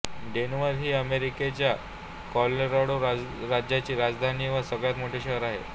Denver ही अमेरिकेच्या Colorado राज्याची राजधानी व सगळ्यात मोठे शहर आहे